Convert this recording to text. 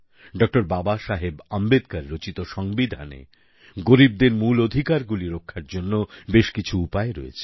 doctor Babasaheb Ambedkar রচিত সংবিধানে গরীবদের মূল অধিকারগুলি রক্ষার জন্য বেশ কিছু উপায় রয়েছে